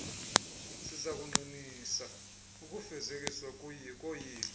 sizakuqinisa ukufezekiswa koyilo